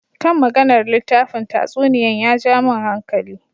Kan maganar littafin tatsuniyan ya ja min hankali.